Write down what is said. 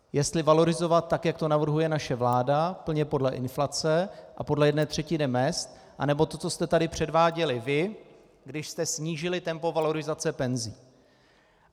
Jestli valorizovat tak, jak to navrhuje naše vláda, plně podle inflace a podle jedné třetiny mezd, nebo to, co jste tu předváděli vy, když jste snížili tempo valorizace penzí.